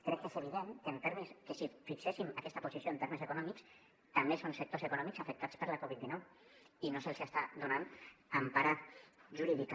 crec que és evident que si fixéssim aquesta posició en termes econòmics també són sectors econòmics afectats per la covid dinou i no se’ls està donant empara jurídica